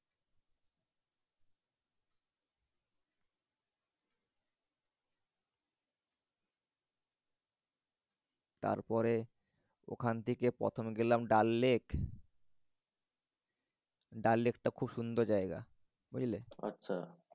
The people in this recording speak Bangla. তারপরে ওখান থেকে প্রথম গেলাম ডাল লেক। ডাল লেকটা খুব সুন্দর জায়গা। বুঝলে? আচ্ছা।